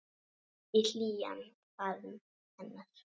Í hlýjan faðm hennar.